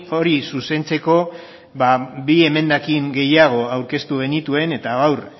hori zuzentzeko bi emendakin gehiago aurkeztu genituen eta gaur